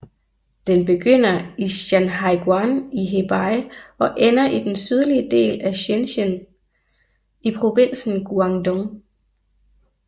Den begynder i Shanhaiguan i Hebei og ender i den sydlige del af Shenzhen i provinsen Guangdong